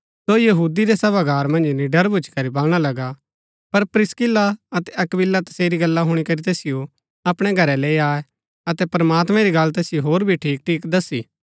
सो यहूदी रै सभागार मन्ज निड़र भूच्ची करी बलणा लगा पर प्रिस्किल्ला अतै अक्‍विला तसेरी गल्ला हुणी करी तैसिओ अपणै घरै लैई आये अतै प्रमात्मैं री गल्ला तैसिओ होर भी ठीक ठीक दस्सी